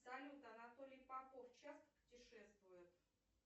салют анатолий попов часто путешествует